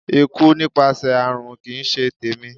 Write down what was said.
Ikú nípasẹ̀ àrùn kì í ṣe tèmi.